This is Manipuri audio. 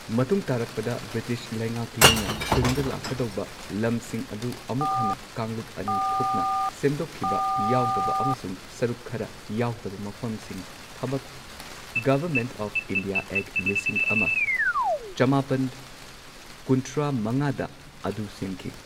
ꯃꯇꯨꯡ ꯇꯥꯔꯛꯄꯗ, ꯕ꯭ꯔꯤꯇꯤꯁ ꯂꯩꯉꯥꯛꯂꯣꯏꯅ ꯇꯨꯡꯗ ꯂꯥꯛꯀꯗꯧꯕ ꯂꯝꯁꯤꯡ ꯑꯗꯨ ꯑꯃꯨꯛ ꯍꯟꯅ ꯀꯥꯡꯂꯨꯞ ꯑꯅꯤ ꯊꯣꯛꯅ ꯁꯦꯝꯗꯣꯛꯈꯤꯕ ꯌꯥꯎꯗꯕ ꯑꯃꯁꯨꯡ ꯁꯔꯨꯛ ꯈꯔ ꯌꯥꯎꯗꯕ ꯃꯐꯝꯁꯤꯡ, ꯊꯕꯛ ꯒꯣꯚꯔꯃꯦꯟꯠ ꯑꯣꯐ ꯏ꯭ꯟꯗꯤꯌꯥ ꯑꯦꯛ ꯂꯤꯁꯤꯡ ꯑꯃ ꯆꯃꯥꯄꯟ ꯀꯨꯟꯊ꯭ꯔꯥ ꯃꯉꯥꯗ ꯑꯗꯨ ꯁꯦꯝꯈꯤ꯫